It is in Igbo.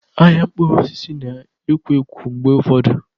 Ahịa mkpụrụ osisi na-ekwo ekwo mgbe ụfọdụ.